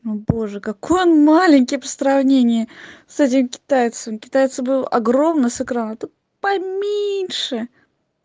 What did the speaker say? о боже какой он маленький по сравнению с этим китайцем у китайца был огромный с экрана тут поменьше